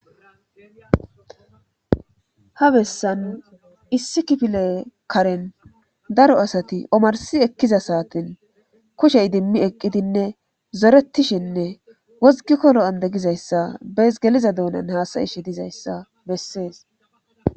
Ha bessan issi kifile karen daro asati omarsi ekkiza saatin kushey idimmi eqqidinne zoretishinne wozgikko lo7ande gizayssa bees geliza doonan haasayishe dizayssa bessees.